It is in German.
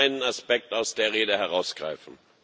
Ich will nur einen Aspekt aus der Rede herausgreifen.